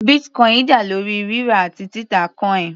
Bitcoin dá lórí rírà àti títà coin.